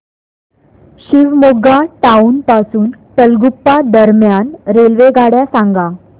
Shivamogga town पासून तलगुप्पा दरम्यान रेल्वेगाड्या सांगा